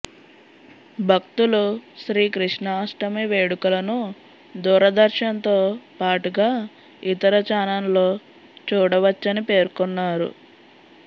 భక్తులు శ్రీకృష్ణాష్టమి వేడుకలను దూరదర్శన్ తో పాటుగా ఇతర చానల్లో చూడవచ్చని పేర్కొన్నారు